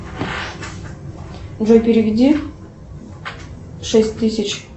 джой переведи шесть тысяч